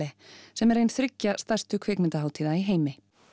sem er ein þriggja stærstu kvikmyndahátíða í heimi